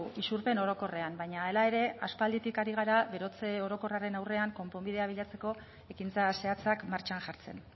isurpen orokorrean baina hala ere aspalditik ari gara berotze orokorraren aurrean konponbidea bilatzeko ekintza zehatzak martxan jartzen